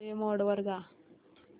movie mode वर जा